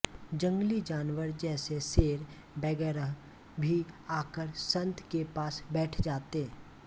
जंगली जानवर जैसे शेर वगैरह भी आकर संत के पास बैठ जाते